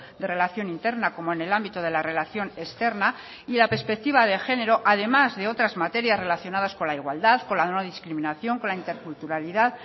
de relación interna como en el ámbito de la relación externa y la perspectiva de género además de otras materias relacionadas con la igualdad con la no discriminación con la interculturalidad